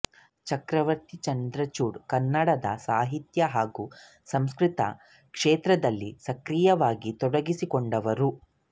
ಚಕ್ರವರ್ತಿ ಚಂದ್ರಚೂಡ್ ಕನ್ನಡದ ಸಾಹಿತ್ಯ ಹಾಗೂ ಸಾಂಸ್ಕೃತಿಕ ಕ್ಷೇತ್ರದಲ್ಲಿ ಸಕ್ರಿಯವಾಗಿ ತೊಡಗಿಸಿಕೊಂಡವರು